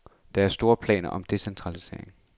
Der er store planer om decentralisering.